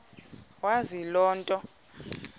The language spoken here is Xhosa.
wazi loo nto